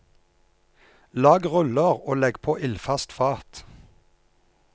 Lag ruller og legg på ildfast fat.